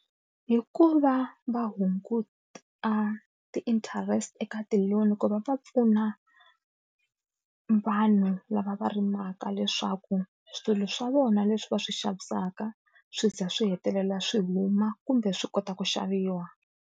Hi ku va hunguta ti-interest eka ti-loan ku va va pfuna vanhu lava va rimaka leswaku swilo swa vona leswi va swi xavisaka swi ze swi hetelela swi huma kumbe swi kota ku xaviwa.